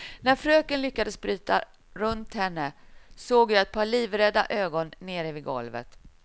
När fröken lyckades bryta runt henne, såg jag ett par livrädda ögon nere vid golvet.